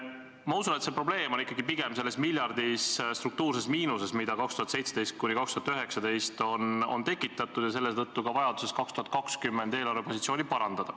Ma usun, et see probleem on ikkagi pigem selles miljardilises struktuurses miinuses, mida aastatel 2017–2019 on tekitatud, ja selle tõttu on ka vajadus 2020. aastal eelarvepositsiooni parandada.